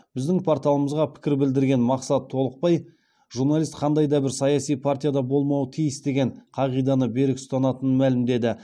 біздің порталымызға пікір білдірген мақсат толықбай журналист қандай да бір саяси партияда болмауы тиіс деген қағиданы берік ұстанатынын мәлімдеді